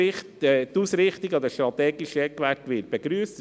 Die Ausrichtung an den strategischen Eckwerten wird begrüsst.